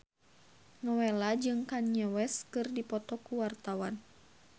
Nowela jeung Kanye West keur dipoto ku wartawan